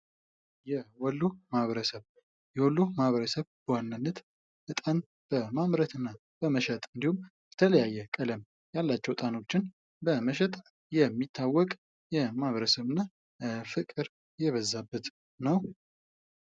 የወሎ ማህበረሰብ የወሎ ማህበረሰብ ፦በዋናነት በጣም በማምረት እና በመሸጥ እንድሁም የተለያየ ቀለም ያላቸው እጣኖችን በመሸጥ የሚታወቅ ማህበረሰብ እና ፍቅር የበዛበት ነው።